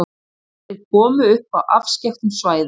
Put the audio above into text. Þeir komu upp á afskekktum svæðum.